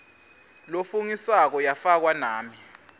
lofungisako yafakwa nami